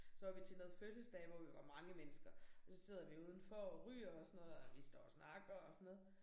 Så var vi til noget fødselsdag hvor vi var mange mennesker og så sidder vi udenfor og ryger og sådan noget og vi står og snakker og sådan noget